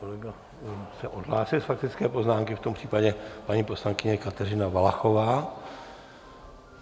Kolega se odhlásil z faktické poznámky, v tom případě paní poslankyně Kateřina Valachová.